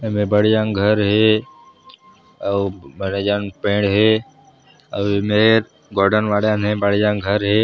एमेर बड़े जान घर हे अऊ बड़े जान पेड़ हे अऊ ए मेर गार्डन वार्डन हे बड़े जान घर हे।